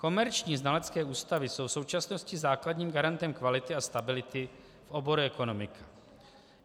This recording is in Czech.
Komerční znalecké ústavy jsou v současnosti základním garantem kvality a stability v oboru ekonomika.